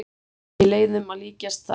Ekki leiðum að líkjast þar.